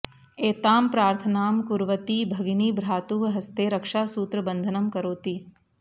एतां प्रार्थनां कुर्वती भगिनी भ्रातुः हस्ते रक्षासूत्रबन्धनं करोति